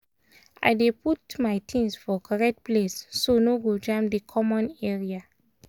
i dey put my things for correct place so no go jam di common area